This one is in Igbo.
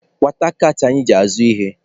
Kwata kaatị anyị ji azụ ihe!